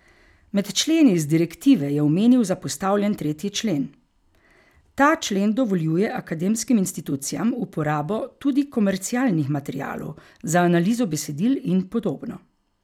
Med členi iz direktive je omenil zapostavljen tretji člen: "Ta člen dovoljuje akademskim institucijam uporabo tudi komercialnih materialov za analizo besedil in podobno.